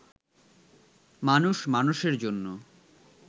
মানুষ মানুষের জন্য